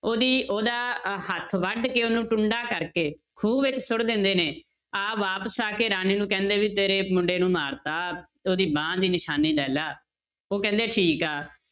ਉਹਦੀ ਉਹਦਾ ਹੱਥ ਵੱਢ ਕੇ ਉਹਨੂੰ ਟੁੰਡਾ ਕਰਕੇ ਖੂਹ ਵਿੱਚ ਸੁੱਟ ਦਿੰਦੇ ਨੇ, ਆਪ ਵਾਪਸ ਆ ਕੇ ਰਾਣੀ ਨੂੰ ਕਹਿੰਦੇ ਵੀ ਤੇਰੇ ਮੁੰਡੇ ਨੂੰ ਮਾਰ ਦਿੱਤਾ, ਉਹਦੀ ਬਾਂਹ ਦੀ ਨਿਸ਼ਾਨੀ ਲੈ ਲਾ, ਉਹ ਕਹਿੰਦੇ ਠੀਕ ਆ